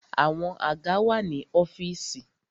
Àwọn àga wà ní ọ́fìsì.